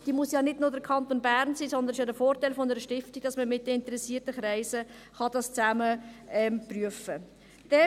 Es muss ja nicht nur der Kanton Bern sein, sondern der Vorteil einer Stiftung ist, dass man es zusammen mit interessierten Kreisen prüfen kann.